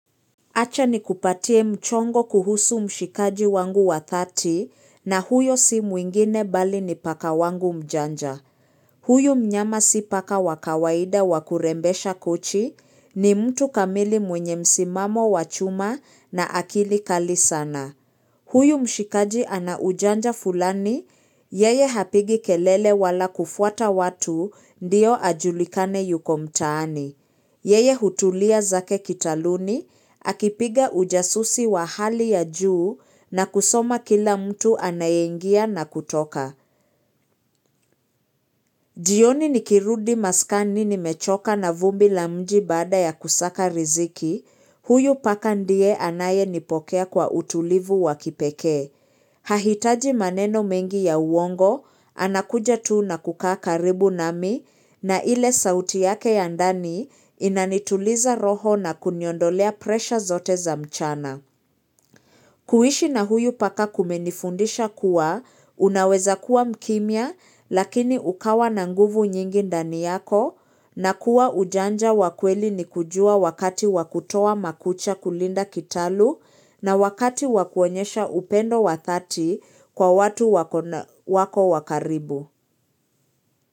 Acha nikupatie mchongo kuhusu mshikaji wangu wa thati na huyo si mwingine bali ni paka wangu mjanja. Huyu mnyama si paka wa kawaida wa kurembesha kochi ni mtu kamili mwenye msimamo wa chuma na akili kali sana. Huyu mshikaji ana ujanja fulani, yeye hapigi kelele wala kufuata watu ndio ajulikane yuko mtaani. Yeye hutulia zake kitaluni, akipiga ujasusi wa hali ya juu na kusoma kila mtu anayeingia na kutoka. Jioni nikirudi maskani nimechoka na vumbi la mji baada ya kusaka riziki, huyu paka ndiye anayenipokea kwa utulivu wa kipekee. Hahitaji maneno mengi ya uongo, anakuja tuu na kukaa karibu nami na ile sauti yake ya ndani inanituliza roho na kuniondolea presha zote za mchana. Kuhishi na huyu paka kumenifundisha kuwa, unaweza kuwa mkimya lakini ukawa na nguvu nyingi ndani yako na kuwa ujanja wa kweli ni kujua wakati wa kutoa makucha kulinda kitalu na wakati wa kuonyesha upendo wa thati kwa watu wako wa karibu.